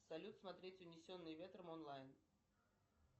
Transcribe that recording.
салют смотреть унесенные ветром онлайн